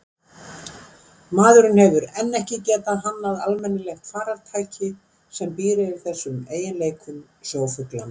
Maðurinn hefur enn ekki getað hannað almennilegt farartæki sem býr yfir þessum eiginleikum sjófuglanna.